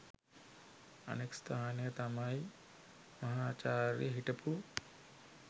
අනෙක් ස්ථානය තමයි මහාචාර්ය හිටපු